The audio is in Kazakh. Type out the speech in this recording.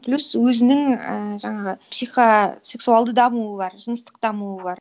плюс өзінің ііі жаңағы психосексуалды дамуы бар жыныстық дамуы бар